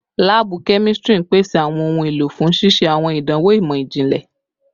Laabu kemistri n pese awọn ohun elo fun ṣiṣe awọn idanwo imọ-jinlẹ